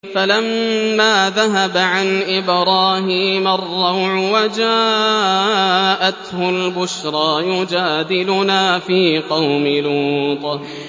فَلَمَّا ذَهَبَ عَنْ إِبْرَاهِيمَ الرَّوْعُ وَجَاءَتْهُ الْبُشْرَىٰ يُجَادِلُنَا فِي قَوْمِ لُوطٍ